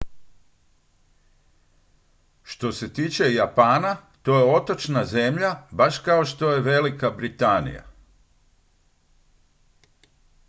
što se tiče japana to je otočna zemlja baš kao što je velika britanija